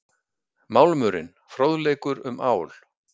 Málmurinn- Fróðleikur um ál.